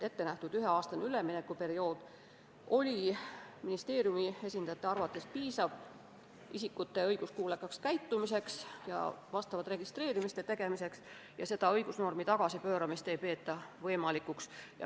Ettenähtud üheaastane üleminekuperiood oli ministeeriumi esindajate arvates piisav isikute õiguskuulekaks käitumiseks ja vastavate registreeringute tegemiseks ning selle õigusnormi tagasipööramist ei peeta võimalikuks.